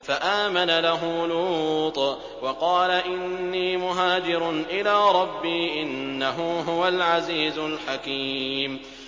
۞ فَآمَنَ لَهُ لُوطٌ ۘ وَقَالَ إِنِّي مُهَاجِرٌ إِلَىٰ رَبِّي ۖ إِنَّهُ هُوَ الْعَزِيزُ الْحَكِيمُ